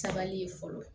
Sabali ye fɔlɔ